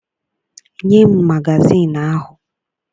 Nye m magazịịnụ ahụ!